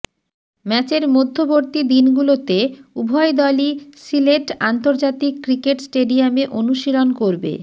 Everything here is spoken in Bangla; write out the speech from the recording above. ম্যাচের মধ্যবর্তী দিনগুলোতে উভয় দলই সিলেট আন্তর্জাতিক ক্রিকেট স্টেডিয়ামে অনুশীলন করবে